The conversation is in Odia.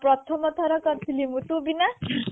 ପ୍ରଥମ ଥର କରିଥିଲି ମୁଁ ତୁ ଭି ନା